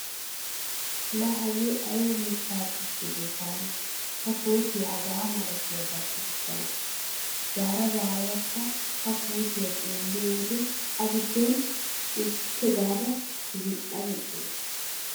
La hagee ayba mitta puute go taani ta kootiyaa hagaa malatiyaagaa sikissana. Zaara zaaradakka ha puutiya xeelliyo wode a giddon woppu gaada zin"a zin"a gees.